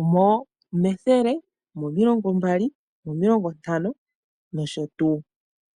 omethele, omomilongo mbali, omomilongo ntano nosho tuu.